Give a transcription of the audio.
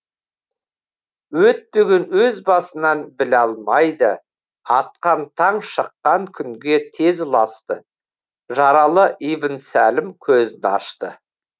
өтпеген өз басынан біле алмайды атқан таң шыққан күнге тез ұласты жаралы ибн сәлім көзін ашты